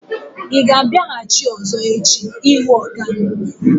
Ị ga-abịaghachi ọ̀zọ́ echi ịhụ ọga m?